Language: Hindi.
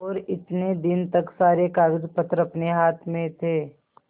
और इतने दिन तक सारे कागजपत्र अपने हाथ में थे